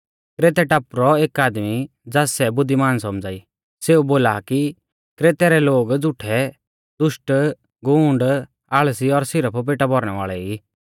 क्रेतै टापु रौ एक आदमी ज़ास सै बुद्धिमान सौमझ़ा ई सेऊ बोला आ कि क्रेतै रै लोग झ़ूठै दुष्टगूँड आल़सी और सिरफ पेटा भौरणै वाल़ै ई